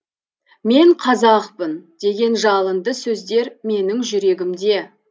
мен қазақпын деген жалынды сөздер менің жүрегімде